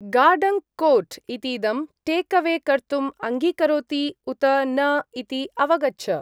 गार्डन्क्-कोर्ट् इतीदं टेक्-अवे कर्तुम् अङ्गीकरोति उत न इति अवगच्छ।